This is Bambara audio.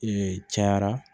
Ee cayara